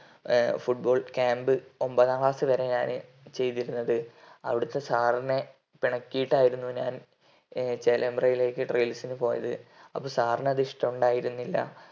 ഏർ foot ball camb ഒമ്പതാം class ഞാന് ചെയ്തിരുന്നത് അവിടത്തെ sir നെ പിണക്കിയിട്ടായിരുന്നു ഞാൻ ചേലമ്പ്രയിലേക്ക് trials നു പോയെ അപ്പൊ sir നു അത് ഇഷ്ടോണ്ടായിരുന്നില്ല